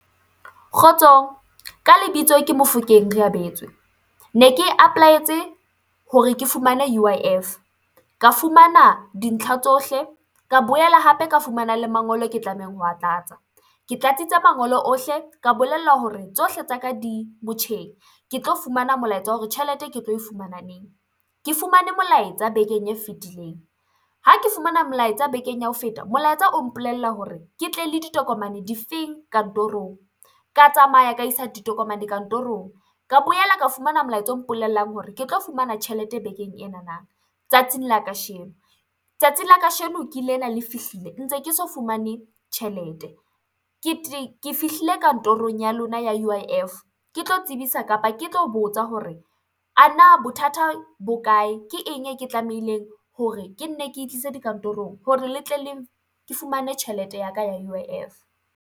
Kgotsong ka lebitso ke Mofokeng Reabetswe ne ke e apolaetse hore ke fumane U_I_F. Ka Fumana dintlha tsohle ka boela hape ka fumana le mangolo e ke tlamehang ho a tlatsa, ke tlatsitse mangolo ohle, ka bolellwa hore tsohle tsa ka di motjheng ke tlo fumana molaetsa wa hore tjhelete ke tlo e fumana neng. Ke fumane molaetsa bekeng e fetileng, ha ke fumana molaetsa bekeng ya ho feta, molaetsa o mpolella hore ke tle le ditokomane difeng kantorong, ka tsamaya ka isa ditokomane kantorong, ka boela ka fumana molaetsa o mpolellang hore ke tlo fumana tjhelete bekeng enana tsatsing la kasheno. Tsatsi la kasheno ke lena le fihlile ntse ke so fumane tjhelete, ke fihlile kantorong ya lona ya U_I_F ke tlo tsebisa kapa ke tlo botsa hore ana bothata bo kae, ke eng e ke tlamehileng hore ke nne ke tlise dikantorong hore ke fumane tjhelete ya ka ya U_I_F.